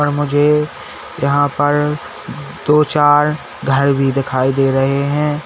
अ मुझे यहां पर दो चार घर भी दिखाई दे रहे हैं।